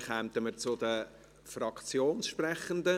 – Dann kommen wir zu den Fraktionssprechenden.